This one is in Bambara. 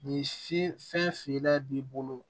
Ni fi fɛn feerela b'i bolo